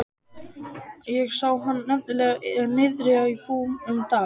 Ég sá hann nefnilega niðri í bæ um daginn.